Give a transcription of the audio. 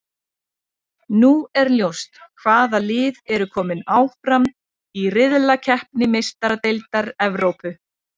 Nú er ljóst hvaða lið eru kominn áfram í riðlakeppni Meistaradeildar Evrópu.